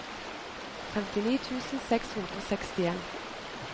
femtini tusen seks hundre og sekstien